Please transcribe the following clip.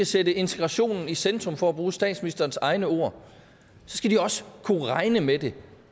sætte integrationen i centrum for at bruge statsministerens egne ord så skal de også kunne regne med det